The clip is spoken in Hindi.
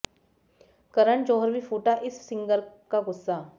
करन जौहर भी फूटा इस सिंगर का गुस्सा